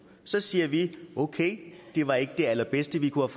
så siger vi okay det var ikke det allerbedste vi kunne